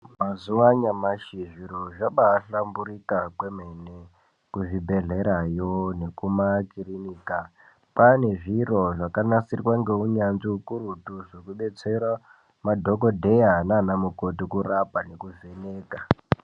Mazuwa anyamashi zviro zvabaahlamburuka kwemene kuzvibhedhlerayo nekumakirinika kwaane zviro zvakagadzirwa ngeunyanzvi ukurutu zvekudetsera madhokodheya naana mukoti kurapa nekuvheneka.